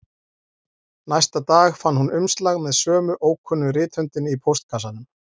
Næsta dag fann hún umslag með sömu ókunnu rithöndinni í póstkassanum